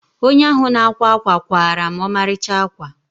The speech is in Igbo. Onye ahụ na-akwa ákwà kwaara m ọmarịcha ákwà.